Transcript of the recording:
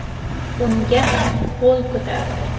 Unga ham qo‘l ko‘tardi.